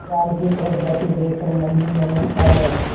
जाल की तरफ जाते देख कर मन ही मन हँसता है